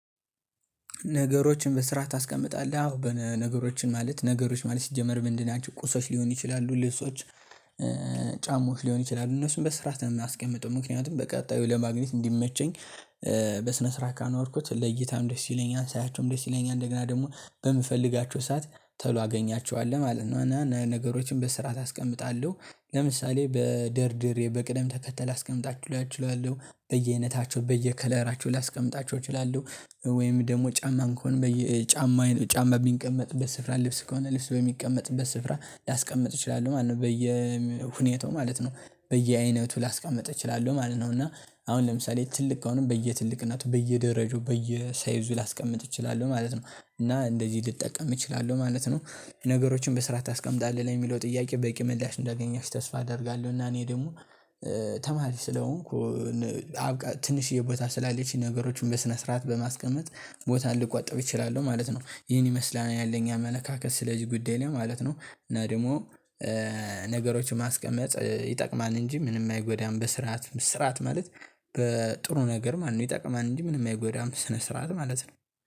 ነገሮችን በስርዓት ታስቀምጣለህ? አዎ በነ ነገሮችን ማለት ነገሮች ማለት ሲጀመር ምንድን ያቺ ቁሶች ሊሆን ይችላል ሁሌ ለሰዎች ጫማዎች ሊሆን ይችላሉ እነሱን በስርዓት ነው የማስቀምጠው ምክንያቱም በቀጣዩ ለማግኘት እንዲመቸኝ በስነ ስርዓት ካኖርኩት ለይታም ደስ ይለኛል አንሳያቸውም ደስ ይለኛል እንደገና ደግሞ በምፈልጋቸው ሰዓት ተሎ አገኛቸዋለሁ ማለት ነው እና ነገሮችን በስርዓት ታስቀምጣለሁ ለምሳሌ በደርድሬ በቅደም ተከተል አስቀምጣችኋለሁ በየአይነታቸው በየከለራቸው ላስቀምጣችሁ እችላለሁ ወይም ደግሞ ጫማም ከሆነ በየጫማ ጫማ ቢንቀመጥበት ስፍራ ልብስ ከሆነ ልብስ በሚቀመጥበት ስፍራ ላስስቀምጥ እችላለሁ ማለት ነው በየ ሁኔታው ማለት ነው በየ አይነቱ ላስቀምጥ እችላለሁ ማለት ነው እና አሁን ለምሳሌ ትልቅ አሁንም በየትልቅነቱ በየደረጃው በየሳይዙ ላስቀምጥ እችላለሁ ማለት ነው እና እንደዚህ ልጠቀም እችላለሁ ማለት ነው ነገሮችን በስርዓት ታስቀምጣለህ? የሚለው ጥያቄ በቂ ምላሽ እንዳገኘሽ ተስፋ አደርጋለሁ እና እኔ ደግሞ ተማሪ ስለሆንኩ አብቃ ትንሽዬ ቦታ ስላለችኝ ነገሮችን በስነ ስርዓት በማስቀመጥ ቦታን ልቆጥብ እችላለሁ ማለት ነው ይሄን ይመስላል ያለኝ አመለካከት ስለዚህ ጉዳይ ላይ ማለት ነው ደግሞ ነገሮችን ማስቀመጥ ይጠቅማል እንጂ ምንም አይጎዳም በስርዓት ስርዓት ማለት በጥሩ ነገር ማነው ይጠቅማል እንዴ ምንም የማይጎዳም ስነ ስርዓት ማለት ነው